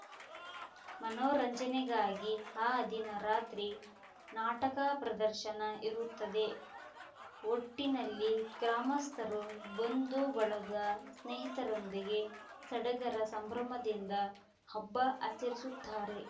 ಮನೋರಂಜನೆಗಾಗಿ ಆ ದಿನ ರಾತ್ರಿ ನಾಟಕ ಪ್ರದರ್ಶನ ಇರುತ್ತದೆ ಒಟ್ಟಿನಲ್ಲಿ ಗ್ರಾಮಸ್ಥರು ಬಂಧು ಬಳಗ ಸ್ನೇಹಿತರೊಂದಿಗೆ ಸಡಗರ ಸಂಭ್ರಮದಿಂದ ಹಬ್ಬ ಆಚರಿಸುತ್ತಾರೆ